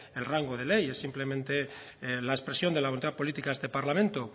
el rango de ley es simplemente la expresión de la voluntad política a este parlamento